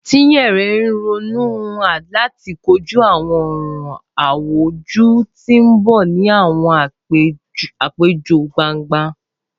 Chinyere n ronu lati koju awọn ọran awujọ ti n bọ ni awọn apejọ gbangba.